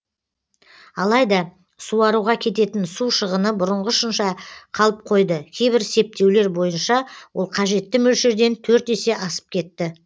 алайда суаруға кететін су шығыны бұрынғыша қалып қойды кейбір септеулер бойынша ол қажетті мөлшерден төрт есе асып кетті